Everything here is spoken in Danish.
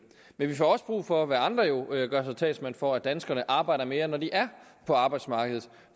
men vi får også brug for hvad andre jo gør sig til talsmænd for at danskerne arbejder mere når de er på arbejdsmarkedet